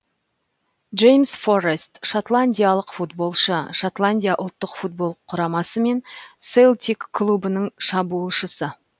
джеймс форрест шотландиялық футболшы шотландия ұлттық футбол құрамасы мен селтик клубының шабуылшысы